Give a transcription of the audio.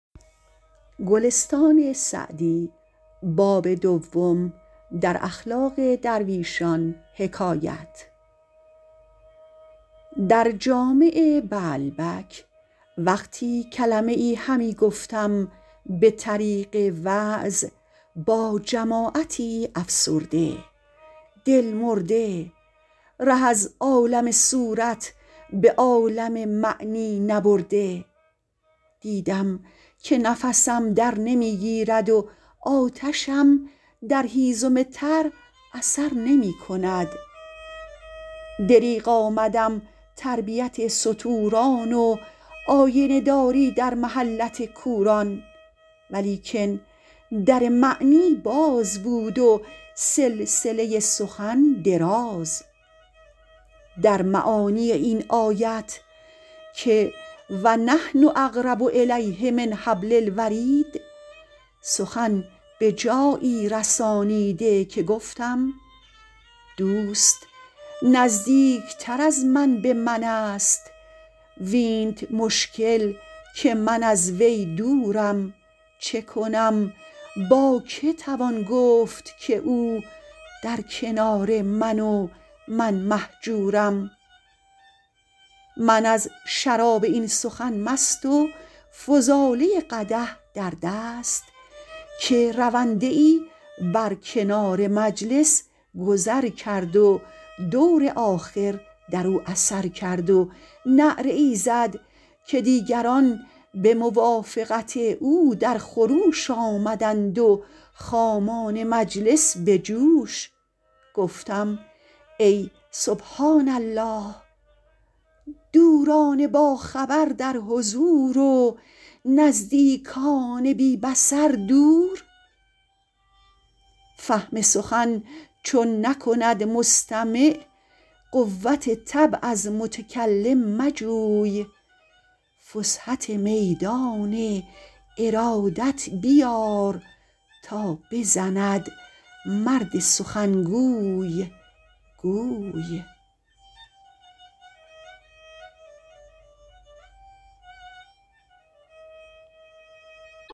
در جامع بعلبک وقتی کلمه ای همی گفتم به طریق وعظ با جماعتی افسرده دل مرده ره از عالم صورت به عالم معنی نبرده دیدم که نفسم در نمی گیرد و آتشم در هیزم تر اثر نمی کند دریغ آمدم تربیت ستوران و آینه داری در محلت کوران ولیکن در معنی باز بود و سلسله سخن دراز در معانی این آیت که و نحن اقرب الیه من حبل الورید سخن به جایی رسانیده که گفتم دوست نزدیکتر از من به من است وینت مشکل که من از وی دورم چه کنم با که توان گفت که او در کنار من و من مهجورم من از شراب این سخن مست و فضاله قدح در دست که رونده ای بر کنار مجلس گذر کرد و دور آخر در او اثر کرد و نعره ای زد که دیگران به موافقت او در خروش آمدند و خامان مجلس به جوش گفتم ای سبحان الله دوران باخبر در حضور و نزدیکان بی بصر دور فهم سخن چون نکند مستمع قوت طبع از متکلم مجوی فسحت میدان ارادت بیار تا بزند مرد سخنگوی گوی